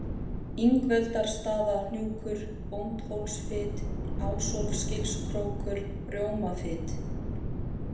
Ingveldarstaðahnjúkur, Bóndhólsfit, Ásólfsgilskrókur, Rjómafit